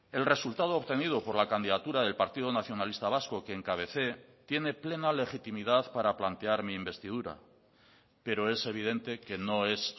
el resultado obtenido por la candidatura del partido nacionalista vasco que encabecé tiene plena legitimidad para plantear mi investidura pero es evidente que no es